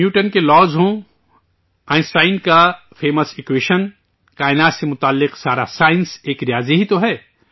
Newton کے law ہوں، Einstein کا مشہور ایکوئیشن، کائنات سے جڑی پوری سائنس ایک ریاضی ہی تو ہے